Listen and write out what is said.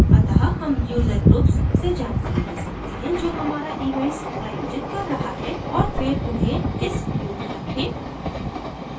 अत: हम user groups से जानकारी so सकते हैं जो हमारा events प्रायोजित कर रहा है औऱ फिर उन्हें इस view में रखें